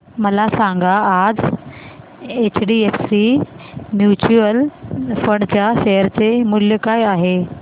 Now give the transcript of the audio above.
मला सांगा आज एचडीएफसी म्यूचुअल फंड च्या शेअर चे मूल्य काय आहे